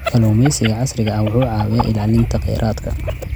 Kalluumeysiga casriga ah wuxuu caawiyaa ilaalinta kheyraadka.